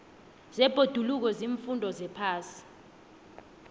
zebhoduluko ziimfundo zephasi